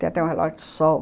Tem até um relógio de sol.